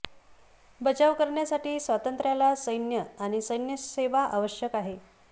बचाव करण्यासाठी स्वातंत्र्याला सैन्य आणि सैन्य सेवा आवश्यक आहे